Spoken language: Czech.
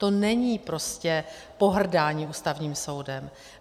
To není prostě pohrdání Ústavním soudem.